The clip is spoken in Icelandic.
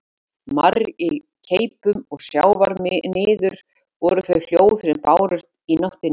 Marr í keipum og sjávarniður voru þau hljóð sem bárust út í nóttina.